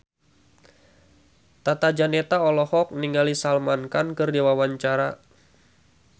Tata Janeta olohok ningali Salman Khan keur diwawancara